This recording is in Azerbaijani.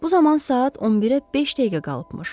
Bu zaman saat 11-ə beş dəqiqə qalıbmış.